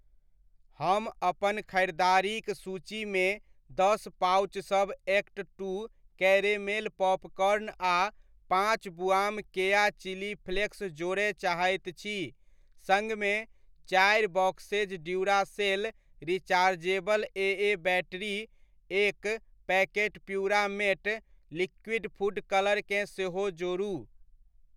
हम अपन ख़रीदारीक सूचीमे दस पाउचसभ एक्ट टू कैरेमेल पॉपकॉर्न आ पाँच बुआम केया चिली फ्लेक्स जोड़य चाहैत छी सङ्गमे, चारि boxes Duracell rechargeable AA battery, एक packet Puramate liquid food colour केँ सेहो जोड़ू।